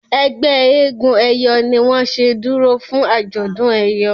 ẹgbẹ éégun eyọ ní wón ṣe dúró fún ajọdún eyọ.